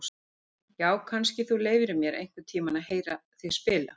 Já, kannski þú leyfir mér einhvern tíma að heyra þig spila.